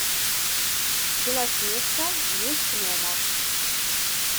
белоснежка месть гномов